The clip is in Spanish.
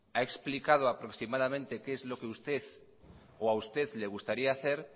ha explicado aproximadamente qué es lo que usted o a usted le gustaría hacer